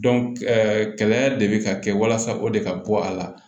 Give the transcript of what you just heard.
kɛlɛ de bɛ ka kɛ walasa o de ka bɔ a la